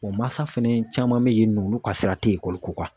Wa masa fana caman be yen nɔ ,olu ka sira te ekɔli ko kan.